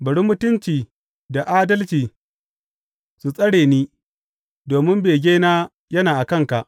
Bari mutunci da adalci su tsare ni, domin begena yana a kanka.